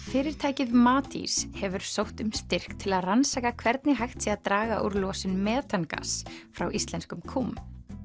fyrirtækið Matís hefur sótt um styrk til að rannsaka hvernig hægt sé að draga úr losun metangass frá íslenskum kúm